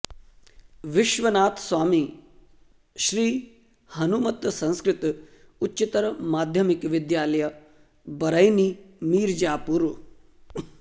Vishwanath Swami Shri Hanumat Sanskrit Uchchatar Madhyamik Vidyalaya Baraini Mirzapur